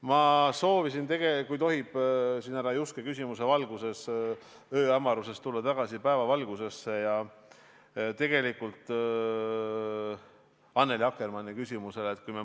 Ma sooviksin, kui tohib, härra Juske küsimuse valguses tulla ööhämarusest tagasi päevavalguse kätte Annely Akkermanni küsimuse juurde.